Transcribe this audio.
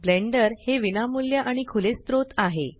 blender हे विनामूल्य आणि खुले स्त्रोत आहे